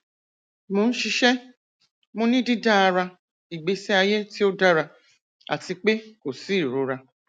mo n ṣiṣẹ mo ni didara igbesi aye ti o dara ati pe ko si irora